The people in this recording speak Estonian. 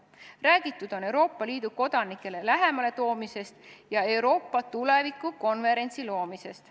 Räägitud on Euroopa Liidu kodanikele lähemale toomisest ja Euroopa tuleviku konverentsist.